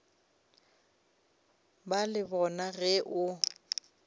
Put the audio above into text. ba le bona ge o